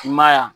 I ma y'a